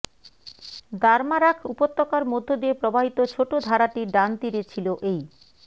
দারমারাখ উপত্যকার মধ্য দিয়ে প্রবাহিত ছোট ধারাটির ডান তীরে ছিল এই